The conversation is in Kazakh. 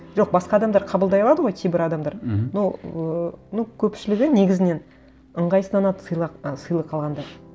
жоқ басқа адмдар қабылдай алады ғой кейбір адамдар мхм но ыыы ну көпшілішгі негізінен ыңғайсызданады ы сыйлық алғанда